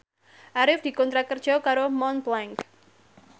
Arif dikontrak kerja karo Montblanc